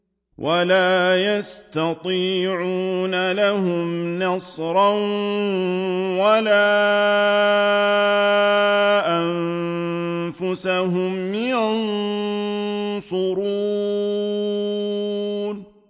وَلَا يَسْتَطِيعُونَ لَهُمْ نَصْرًا وَلَا أَنفُسَهُمْ يَنصُرُونَ